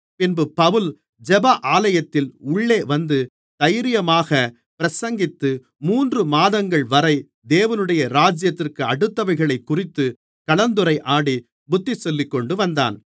பின்பு பவுல் ஜெப ஆலயத்தில் உள்ளே வந்து தைரியமாகப் பிரசங்கித்து மூன்று மாதங்கள்வரை தேவனுடைய ராஜ்யத்துக்கடுத்தவைகளைக்குறித்து கலந்துரையாடி புத்திசொல்லிக்கொண்டு வந்தான்